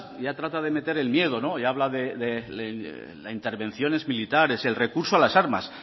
ya trata de meter el miedo y habla de las intervenciones militares el recurso a las armas